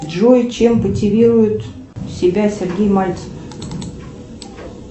джой чем мотивирует себя сергей мальцев